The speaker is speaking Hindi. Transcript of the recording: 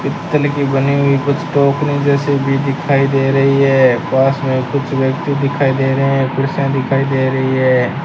तितली की बनी हुई कुछ टोकरी जैसे भी दिखाई दे रही है पास मे कुछ व्यक्ति दिखाई दे रहे है कुर्सियां दिखाई दे रही है।